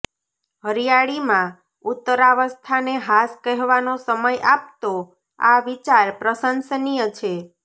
હરિયાળીમાં ઉત્તરાવસ્થાને હાશ કહેવાનો સમય આપતો આ વિચાર પ્રશંસનીય છે